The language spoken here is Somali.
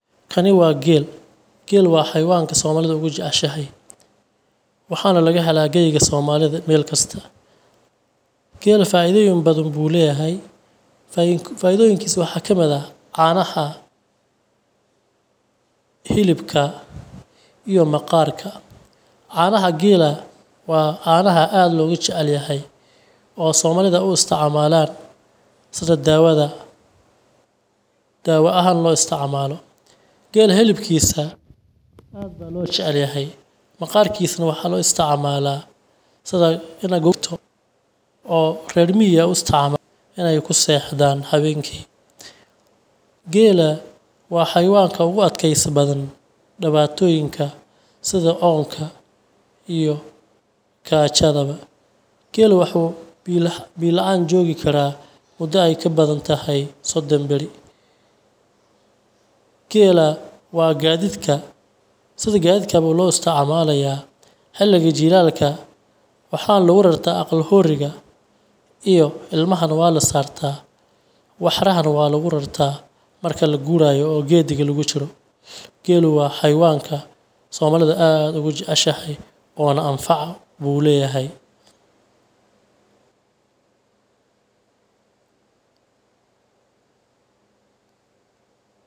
Kani waa geel, Geela waa xayawaanka somalidu ugu jeceshahay, waxaana laga helaa geyiga somalida meelkasta. Geela faidooyin badan buu leyahay, faidoyinkiisa waxaa kamid ah caanaha, hilibka iyo maqaarka. Caanaha geela waa caanaha aad logu jecelyahay oo somalida u isticmaalaan sida daawada, daawa ahaan loo istimaalo. Geela hilibkiisa aad baa loo jecelyahay, Maqaarkiisana waxaa loo isticmaala sida ina gorto oo re miyiga aa isticmaalaan inaay ku sexdaan hawenki. Geela waa xayawaanka ugu adkeesi badan dibaatoyinka sida oonka iyo gaajadaba. Geela wuxuu biya laan joogi karaa muda aay kabadan tahay sodon bari. Geela waa gaadidka, sida gaadidka baa loo isticmaalayaa xiliga jiilaalka waxaana lagu rartaa aqal hooriga iyo ilmahana waa lasaartaa, waxarahana waa lagu rartaa marki laguuraayo o gediga lagu jiro. Geela waa xayawaanka somaalidu aad ugu jeceshahay oona anfaca buu leyahay.